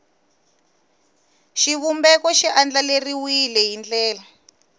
xivumbeko xi andlariwile hi ndlela